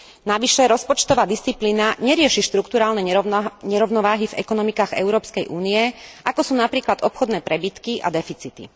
Navyše rozpočtová disciplína nerieši štrukturálne nerovnováhy v ekonomikách Európskej únie, ako sú napríklad obchodné prebytky a deficity.